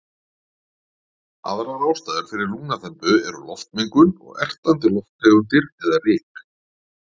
Aðrar ástæður fyrir lungnaþembu eru loftmengun og ertandi lofttegundir eða ryk.